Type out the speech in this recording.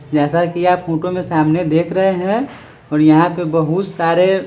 जैसा की आप फोटो में सामने देख रहे हैं और यहाँ पे बहुत सारे--